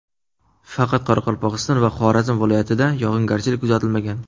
Faqat Qoraqalpog‘iston va Xorazm viloyatida yog‘ingarchilik kuzatilmagan.